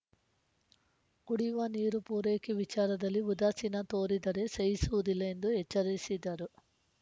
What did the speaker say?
ಕುಡಿಯುವ ನೀರು ಪೂರೈಕೆ ವಿಚಾರದಲ್ಲಿ ಉದಾಸೀನ ತೋರಿದರೆ ಸಹಿಸುವುದಿಲ್ಲ ಎಂದು ಎಚ್ಚರಿಸಿದರು